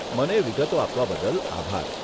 મને વિગતો આપવા બદલ આભાર.